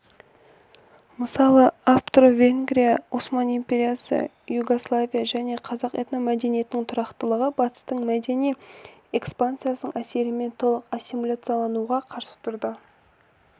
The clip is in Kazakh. мысалы австро-венгрия осман империясы югославия және қазақ этномәдениетінің тұрақтылығы батыстық мәдени экспансияның әсерімен толық ассимилияциялануға қарсы тұрды